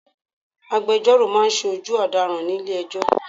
Agbejọ́rò máa ń ṣojú ọ̀daràn nílé ẹjọ́.